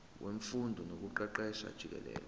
wemfundo nokuqeqesha jikelele